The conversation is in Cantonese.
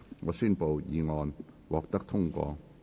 我宣布議案獲得通過。